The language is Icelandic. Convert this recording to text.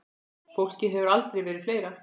Fólkið hefur aldrei verið fleira.